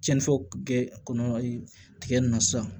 Cɛnni fɔ kɔnɔyi tigɛ nunnu na sisan